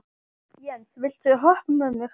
Jens, viltu hoppa með mér?